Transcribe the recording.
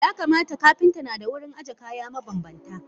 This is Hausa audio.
Yakamata Kapinta nada wurin aje kaya mabanbanta.